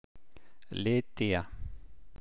Lydía